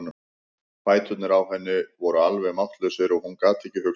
Fæturnir á henni voru alveg máttlausir og hún gat ekki hugsað.